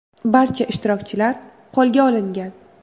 Barcha ishtirokchilar qo‘lga olingan.